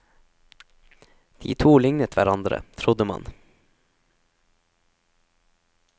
De to lignet hverandre, trodde man.